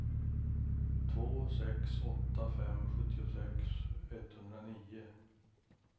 två sex åtta fem sjuttiosex etthundranio